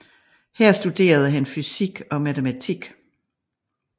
Her studerede han fysik og matematik